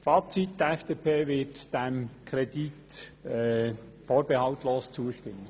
Die FDP wird dem Kredit vorbehaltlos zustimmen.